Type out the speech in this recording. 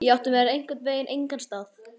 Ég átti mér einhvern veginn engan stað.